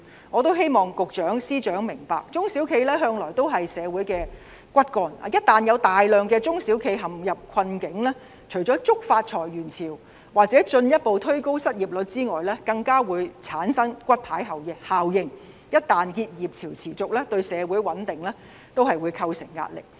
我希望司長和局長明白，中小企向來是社會的骨幹，一旦有大量中小企陷入困境，除了觸發裁員潮或進一步推高失業率外，更會產生骨牌效應，而且若結業潮持續，對社會穩定會構成壓力。